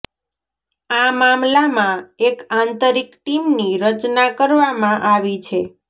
આ મામલામાં એક આંતરિક ટીમની રચના કરવામાં આવી છે